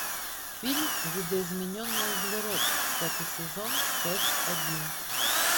фильм видоизмененный углерод пятый сезон часть один